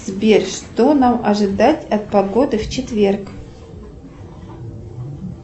сбер что нам ожидать от погоды в четверг